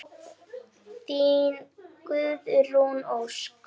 Þín, Guðrún Ósk.